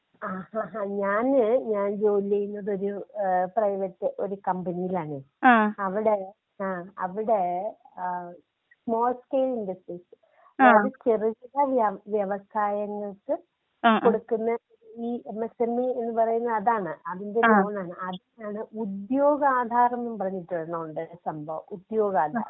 ആഹഹ ഞാന്, ഞാൻ ജോലി ചെയ്യുന്നത് ഒരു ഏഹ് പ്രൈവറ്റ് ഒരു കമ്പനിയിലാണ്. അവിടേ ആഹ് അവിടേ ഏഹ് സ്മാൾ സ്കയ്ൽ ഇൻഡസ്ട്രിസ്, അതായത് ചെറു കിട വ്യവസായങ്ങൾക്ക് കൊടുക്കുന്ന ഈ എമ് എസ് എം ഇ പറയുന്ന അതാണ്. അതിന്റെ ലോൺ ആണ്.അതിനാണ് ഉദ്യോഗാധാറെന്നും പറഞ്ഞിട്ടൊരെണ്ണം ഉണ്ട്. സംഭവം ഉദ്യോഗാധാർ.